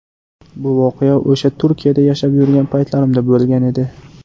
Bu voqea o‘sha Turkiyada yashab yurgan paytlarimda bo‘lgan edi.